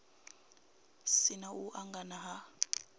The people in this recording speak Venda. si na u angana ha